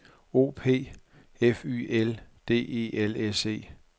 O P F Y L D E L S E